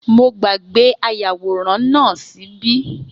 Mo gbàgbé ayàwòrán náà ṣíbí